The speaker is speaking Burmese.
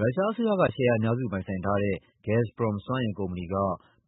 ရုရှားအစိုးရက ရှယ်ယာအများစုပိုင်ဆိုင်ထားတဲ့ Gazprom စွမ်းအင်ကုမ္ပဏီက